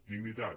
dignitat